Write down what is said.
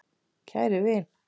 Kæri vin!